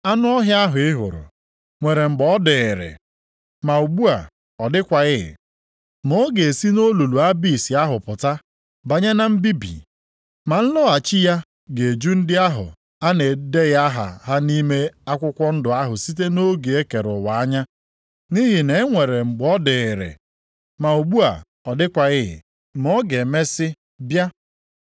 Anụ ọhịa ahụ ị hụrụ, nwere mgbe ọ dịịrị, ma ugbu a, ọ dịkwaghị. Ma ọ ga-esi nʼolulu Abis ahụ pụta banye na mbibi. Ma nlọghachi ya ga-eju ndị ahụ a na-edeghị aha ha nʼime akwụkwọ ndụ ahụ site nʼoge e kere ụwa anya. Nʼihi na e nwere mgbe ọ dịịrị, ma ugbu a, ọ dịkwaghị, ma ọ ga-emesi bịa.